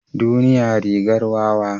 Duniya rigar wawa.